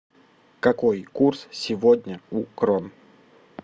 какой курс сегодня у крон